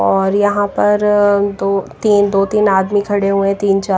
और यहां पर दो तीन दो तीन आदमी खड़े हुए है तीन चा--